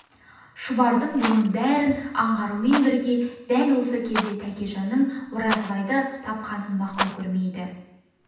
шұбар бұның бәрін аңғарумен бірге дәл осы кезде тәкежан-ның оразбайды тапқанын мақұл көрмейді